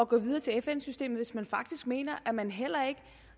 gå videre til fn systemet på hvis man faktisk mener at man heller ikke